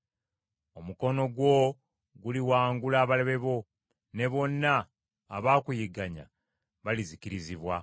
Omukono gwo guliwangula abalabe bo, ne bonna abakuyigganya balizikirizibwa.